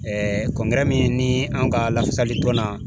Ɛɛ min ni an ka lafasali dɔnna